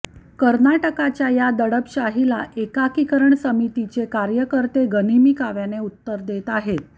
कर्नाटकच्या या दडपशाहीला एकीकरण समितीचे कार्यकर्ते गनिमी काव्याने उत्तर देत आहेत